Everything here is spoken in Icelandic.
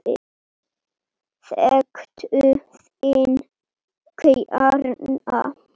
Þekktu þinn kjarna!